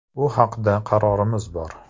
Bu haqda qarorimiz bor.